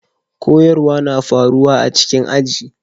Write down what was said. Koyarswa na faruwa a cikin aji.